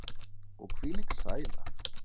Og hvílík sæla.